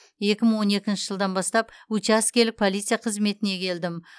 екі мың он екінші жылдан бастап учаскелік полицей қызметіне келдім